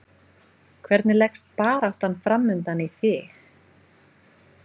Hvern leggst baráttan framundan í þig?